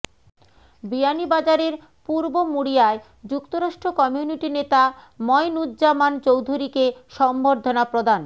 বিয়ানীবাজারের পূর্ব মুড়িয়ায় যুক্তরাষ্ট্র কমিউনিটি নেতা ময়নূজ্জামান চৌধুরীকে সংবর্ধনা প্রদান